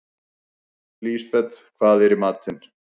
Lisbeth, hvað er í matinn?